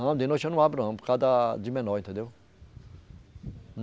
Não, de noite eu não abro não, por causa da, de menor, entendeu?